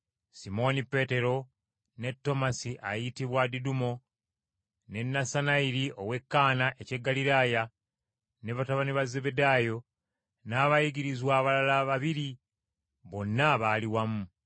Simooni Peetero, ne Tomasi ayitibwa Didumo, ne Nassanayiri ow’e Kaana eky’e Ggaliraaya, ne batabani ba Zebbedaayo, n’abayigirizwa abalala babiri, bonna baali wamu.